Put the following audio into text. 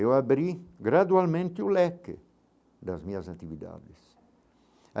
Eu abri gradualmente o leque das minhas atividades.